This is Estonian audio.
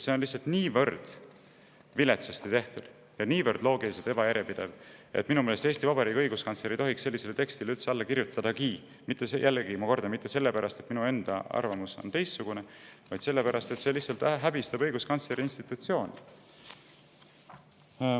See on lihtsalt niivõrd viletsasti tehtud ja loogiliselt niivõrd ebajärjepidev, et minu meelest ei tohiks Eesti Vabariigi õiguskantsler sellisele tekstile üldse alla kirjutadagi, mitte sellepärast, et minu enda arvamus on teistsugune, vaid sellepärast, et see lihtsalt häbistab õiguskantsleri institutsiooni.